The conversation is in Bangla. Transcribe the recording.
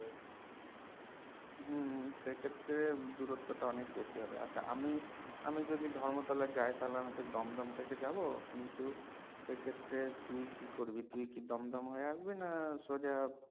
হম সেক্ষেত্রে দূরত্বটা অনেক বেশি হবে আচ্ছা আমি আমি যদি ধর্মতলা যায় তাহলে আমি দমদম থেকে যাবো কিন্তু সেক্ষেত্রে তুই কি করবি তুই কি দমদম হয়ে আসবি না সোজা